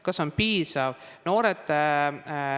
Kas see on piisav?